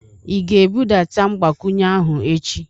Ị ga-ebudata mgbakwunye ahụ echi?